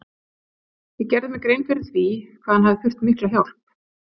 Ég gerði mér grein fyrir því hvað hann hefði þurft mikla hjálp.